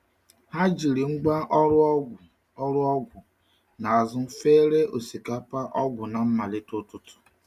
Ha jiri ngwá ọrụ ọgwụ ọrụ ọgwụ n’azụ fere osikapa ọgwụ na mmalite ụtụtụ.